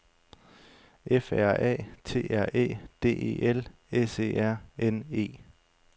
F R A T R Æ D E L S E R N E